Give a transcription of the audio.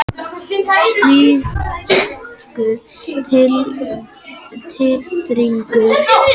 Slíkur titringur getur verið nógu mikill til að fólk finni hann.